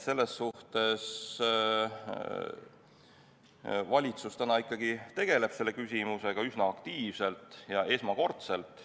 Valitsus tegeleb selle küsimusega praegu üsna aktiivselt ja esmakordselt.